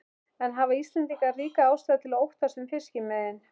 En hafa Íslendingar ríka ástæðu til að óttast um fiskimiðin?